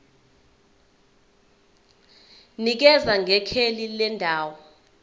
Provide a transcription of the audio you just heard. nikeza ngekheli lendawo